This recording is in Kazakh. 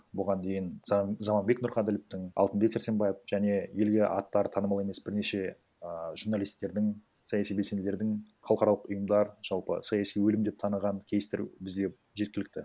бұған дейін заманбек нұрқәділовтің алтынбек сарсенбаев және елге аттары танымал емес бірнеше ііі журналисттердің саяси белсенділердің халықаралық ұйымдар жалпы саяси өлім деп таныған кейстер бізде жеткілікті